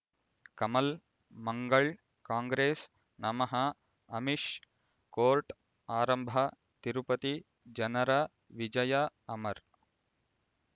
ಕಮಲ್ ಮಂಗಳ್ ಕಾಂಗ್ರೆಸ್ ನಮಃ ಅಮಿಷ್ ಕೋರ್ಟ್ ಆರಂಭ ತಿರುಪತಿ ಜನರ ವಿಜಯ ಅಮರ್